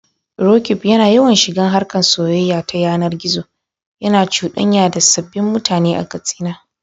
Roqeeb yana yawan shiga harkar soyayya ta yanar gizo, yana cuɗanya da sabbin mutane a Katsina.